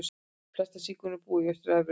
Flestir sígaunar búa í Austur-Evrópu.